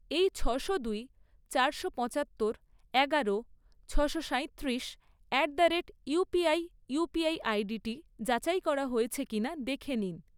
এই ছশো দুই, চারশো পঁচাত্তর, এগারো, ছশো সাঁইত্রিশ at the rate UPI UPI আইডিটি যাচাই করা হয়েছে কিনা দেখে নিন।